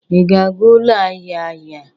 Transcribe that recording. Ị ga-aga ụlọ ahịa ahịa?